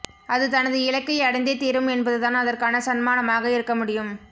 அது தனது இலக்கை அடைந்தே தீரும் என்பதுதான் அதற்கான சன்மானமாக இருக்கமுடியும்